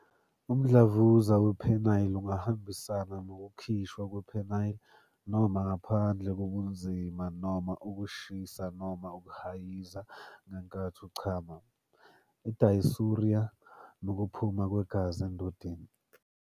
Umdlavuza wePenile ungahambisana nokukhishwa kwe-penile noma ngaphandle kobunzima noma ukushisa noma ukuhayiza ngenkathi uchama, i- dysuria, nokuphuma kwegazi endodeni.